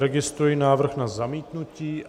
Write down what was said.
Registruji návrh na zamítnutí.